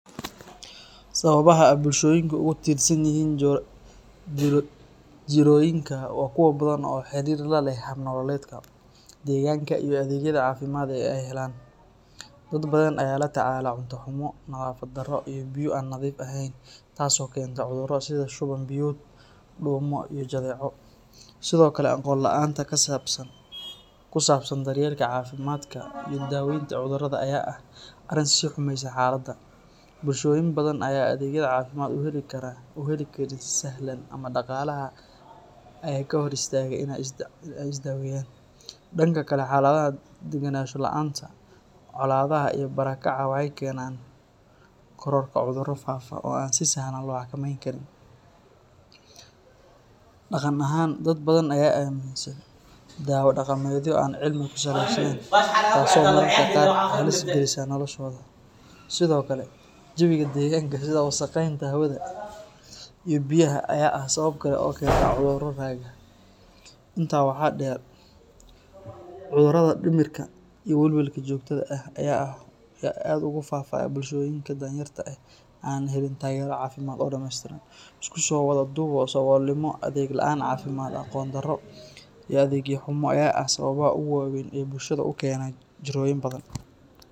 Sawabaha ee bulshoyinka ee ugu tiran yihin jiroyinka waa kuwa badan oo xirir laleh nolol malmeedka deganka iyo cafimaadka ee helan, dad badan aya la tacala nadhafaad xumo iyo biyo an nadhiif ahen tas oo kenta cudhura sitha shuwan biyod iyo jadeco, sithokale aqon laanta kusabsan daryelka cafimaadka, bulshoyin badan aya u heli karin si sahlan ama daqalaha ee ka hor istaga in ee isdaweyan, danka kale xalaada ee u fududeyan colada iyo bara kacyasha waxee kenan cudhuro fafa oo an si sahlan lo xaka meyni karin, daqan ahan dad badan aya amin san dawo daqameedyo oo an sharciyesnen taso oo halis galisa noloshooda, sithokale jawiga deganka sitha wasaqenta iyo biyaha inta waxaa deer cudhuraada jirka aya aas ogu fafa bulshoyinka dan yarta eh an helin tagero cafimaad oo sare, iskuso wadha duwa adegyo cafimaad iyo aqon daro iyo adegyo xumo aya eh dibka wawen ee u kena bulshaada in badan.